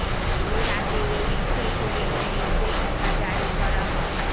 এর আগেও এই বিষয়গুলি নিয়ে নির্দেশিকা জারি করা হয়